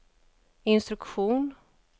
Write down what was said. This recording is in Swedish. instruktion